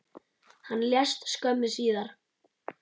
Hann lést skömmu síðar.